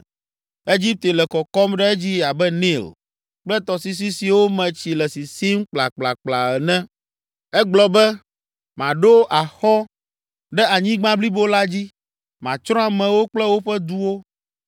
Egipte le kɔkɔm ɖe dzi abe Nil kple tɔsisi siwo me tsi le sisim kplakplakpla ene, egblɔ be, ‘Maɖo axɔ ɖe anyigba blibo la dzi; matsrɔ̃ amewo kple woƒe duwo.’